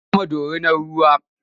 Sun kamo dorinar ruwa.